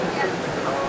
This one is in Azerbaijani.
Xeyir olsun.